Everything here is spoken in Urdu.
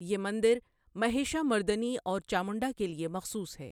یہ مندر مہیشامردنی اور چامنڈا کے لیے مخصوص ہے۔